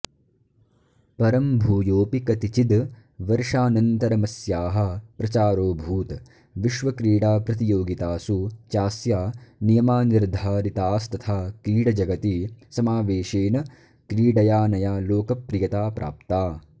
परं भूयोऽपि कतिचिद् वर्षानन्तरमस्याः प्रचारोऽभूत् विश्वक्रीडाप्रतियोगितासु चास्या नियमा निर्धारितास्तथा क्रीडजगति समावेशेन क्रीडयाऽनया लोकप्रियता प्राप्ता